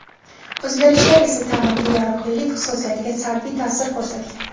O‘zgarishlar esa ta’mirga yaroqlilik xususiyatiga salbiy ta’sir o‘tkazgan.